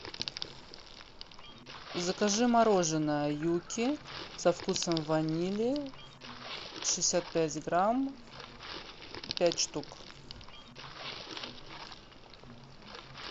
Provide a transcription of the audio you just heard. закажи мороженое юкки со вкусом ванили шестьдесят пять грамм пять штук